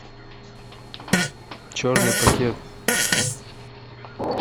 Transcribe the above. черный пакет